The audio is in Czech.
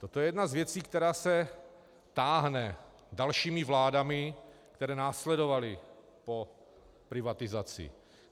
Toto je jedna z věcí, která se táhne dalšími vládami, které následovaly po privatizaci.